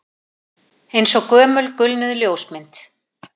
Eins og gömul gulnuð ljósmynd